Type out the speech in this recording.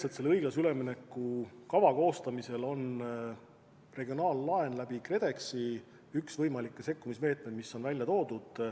Jah, selle õiglase ülemineku kava koostamisel on regionaallaen KredExi kaudu kui üks võimalikke sekkumismeetmeid välja toodud.